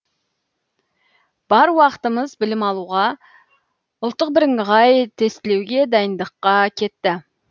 бар уақытымыз білім алуға ұлттық бірыңғай тестілеуге дайындыққа кетті